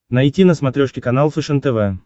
найти на смотрешке канал фэшен тв